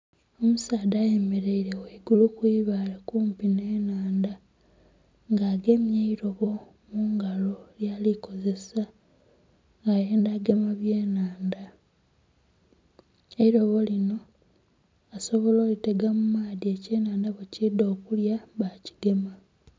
Omusaadha ayemereire ghaigulu kwibaale okumpi nhe enhandha nga agemye eirobo mungalo lyali kozesa ayenda gema bye enhandha. Eirobo lino asobola olitega mu maadhi ekye nhandha bwe kidha okulya bakigema.